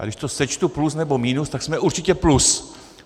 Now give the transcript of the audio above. A když to sečtu plus nebo minus, tak jsme určitě plus.